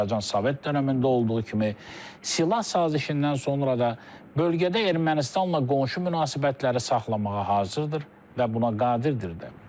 Azərbaycan Sovet dönəmində olduğu kimi, silah sazişindən sonra da bölgədə Ermənistanla qonşu münasibətləri saxlamağa hazırdır və buna qadirdir də.